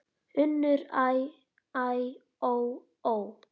UNNUR: Æ, æ, ó, ó!